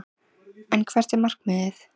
En hvert er markmiðið?